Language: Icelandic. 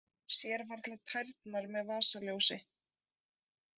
Sér varla tærnar með vasaljósi